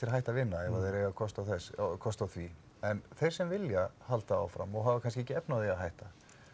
hætta að vinna ef þeir eiga kost á kost á því en þeir sem vilja halda áfram og hafa kannski ekki efni á því að hætta